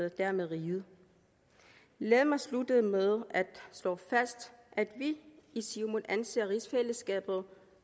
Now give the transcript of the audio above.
og dermed riget lad mig slutte med at slå fast at vi i siumut anser rigsfællesskabet